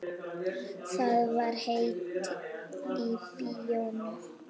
Það var heitt í bíóinu.